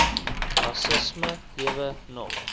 rassisme lewe nog